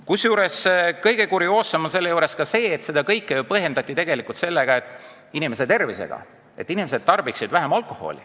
Kusjuures kõige kurioossem on see, et seda kõike on põhjendatud sooviga inimeste tervist hoida – et inimesed tarbiksid vähem alkoholi.